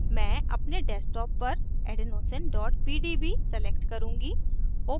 मैं अपने desktop पर adenosine pdb select करुँगी